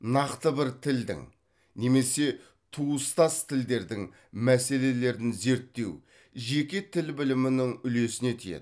нақты бір тілдің немесе туыстас тілдердің мәселелерін зерттеу жеке тіл білімінің үлесіне тиеді